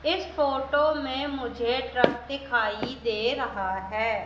इस फोटो में मुझे ट्रक दिखाई दे रहा है।